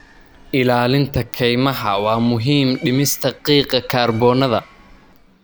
Ilaalinta kaymaha waa muhiim dhimista qiiqa kaarboon-da.